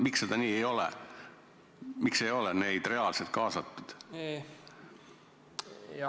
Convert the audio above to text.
Miks see nii ei ole, miks ei ole neid reaalselt kaasatud?